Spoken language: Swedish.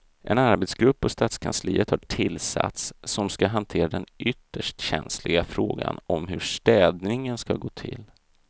En arbetsgrupp på stadskansliet har tillsatts som ska hantera den ytterst känsliga frågan om hur städningen ska gå till.